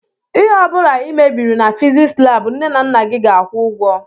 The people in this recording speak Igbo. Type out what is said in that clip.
ihe ọbula i mebiri na fiziks lab nne na nna gị ga-akwu ụgwọ.